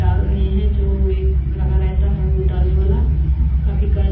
डाल रहे है जो एक लगा रहता है उ डालने वाला काफी काल--